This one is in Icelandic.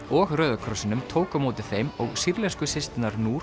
og Rauða krossinum tók á móti þeim og sýrlensku systurnar